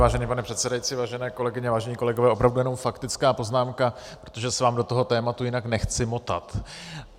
Vážený pane předsedající, vážené kolegyně, vážení kolegové, opravdu jenom faktická poznámka, protože se vám do toho tématu jinak nechci motat.